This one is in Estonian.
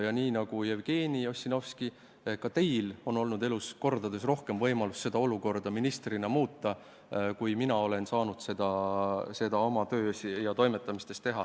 Ja nii nagu Jevgeni Ossinovskil, on ka teil ministrina olnud kordades rohkem võimalusi seda olukorda muuta kui minul oma töös ja toimetustes.